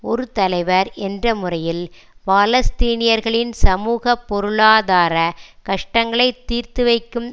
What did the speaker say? ஒரு தலைவர் என்ற முறையில் பாலஸ்தீனியர்களின் சமூக பொருளாதார கஷ்டங்களை தீர்த்து வைக்கும்